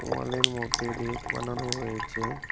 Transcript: অনেক মূর্তি ব়্যাক বানানো হয়েছে।